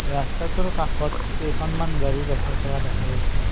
ৰস্তাটোৰ কাষত কেইখনমান গাড়ী ৰাখি থোৱা দেখা গৈছে।